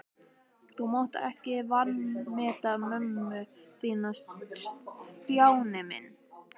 Þú mátt ekki vanmeta mömmu þína, Stjáni minn.